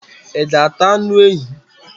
I ga ata anu ehi?